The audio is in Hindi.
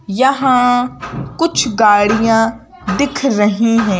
यहाँ कुछ गाड़ियां दिख रही हूं।